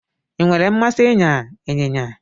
I nwere mmasị ịnya ịnyịnya